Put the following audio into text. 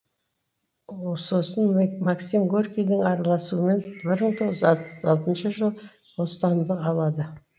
сосын максим горькийдің араласуымен бір мың тоғыз жүз отыз алтыншы жылы бостандық алады